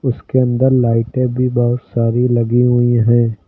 उसके अंदर लाइटें भी बहोत सारी लगी हुई हैं।